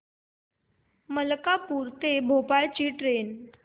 मलकापूर ते भोपाळ ची ट्रेन